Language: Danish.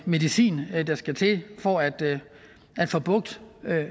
medicin der skal til for at at få bugt